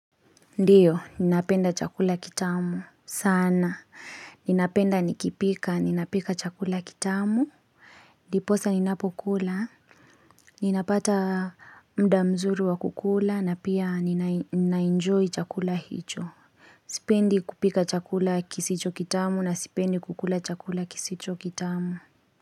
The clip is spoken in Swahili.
Ndiyo, ninapenda chakula kitamu. Sana, ninapenda nikipika, ninapika chakula kitamu. Ndiposa ninapokula. Ninapata mdamzuru wa kukula na pia ninai ninainjoy chakula hicho. Sipendi kupika chakula kisicho kitamu na sipendi kukula chakula kisicho kitamu.